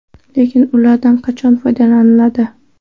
Lekin ulardan qachon foydalaniladi?